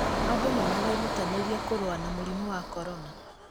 Andũ nĩ marerutanĩria kũrũa na mũrimũ wa korona